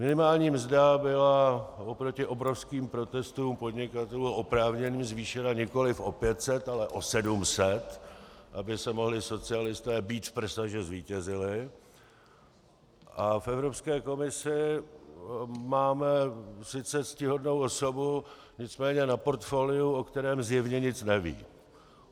Minimální mzda byla oproti obrovským protestům podnikatelů, oprávněným, zvýšena nikoli o 500, ale o 700, aby se mohli socialisté bít v prsa, že zvítězili, a v Evropské komisi máme sice ctihodnou osobu, nicméně na portfoliu, o kterém zjevně nic neví.